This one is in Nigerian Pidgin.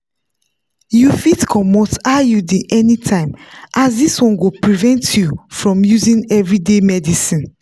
you fitbcomot iud anytime as this one go prevent you from using everyday medicines.